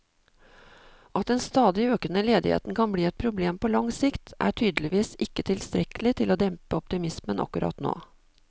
At den stadig økende ledigheten kan bli et problem på lang sikt, er tydeligvis ikke tilstrekkelig til å dempe optimismen akkurat nå.